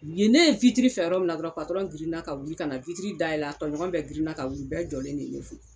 U ye ne ye witiri fɛ yɔrɔ min na dɔrɔn patɔrɔn girin na ka na witiri da yɛlɛ a tɔɲɔgɔn bɛ girin na ka wuli u bɛɛ jɔlen de ye ne fo